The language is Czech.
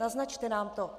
Naznačte nám to.